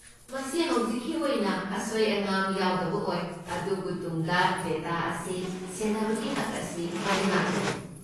ꯃꯁꯤ ꯍꯧꯖꯤꯛꯀꯤ ꯑꯣꯏꯅ ꯑꯁꯣꯏ ꯑꯉꯥꯝ ꯌꯥꯎꯗꯕ ꯑꯣꯏ, ꯑꯗꯨꯕꯨ ꯇꯨꯡꯗ ꯗꯦꯇꯥ ꯑꯁꯤ ꯁꯦꯟꯅꯕꯒꯤ ꯍꯛ ꯑꯁꯤ ꯂꯩꯉꯥꯛꯇ ꯂꯩ꯫